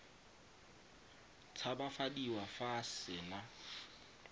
tshabafadiwa fa a se na